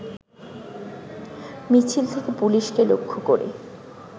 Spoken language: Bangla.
মিছিল থেকে পুলিশকে লক্ষ্য করে